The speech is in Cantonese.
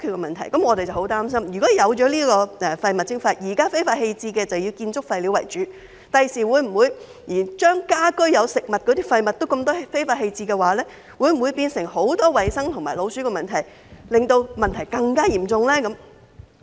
現在非法棄置垃圾以建築廢料為主，我們十分擔心，在實施廢物徵費後，會否連有大量食物的家居廢物也被非法棄置，會否產生更多衞生和老鼠問題，令問題更加嚴重？